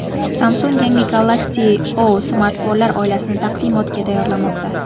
Samsung yangi Galaxy O smartfonlar oilasini taqdimotga tayyorlamoqda.